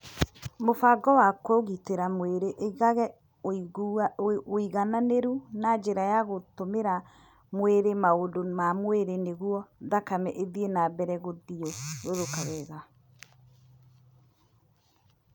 Mũbango wa Kũgitĩra Mĩĩrĩ ĩigaga ũigananĩru na njĩra ya gũtũmĩra mwĩrĩ maũndũ ma mwĩrĩ nĩguo thakame ĩthiĩ na mbere gũthiũrũrũka wega.